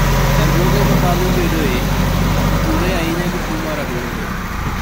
Chandruoge ma bang'e bedoe, otudore ahinya gi tuwo mar adundo.